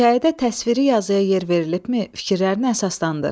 Hekayədə təsvirə yazıya yer verilibmi fikirlərini əsaslandır.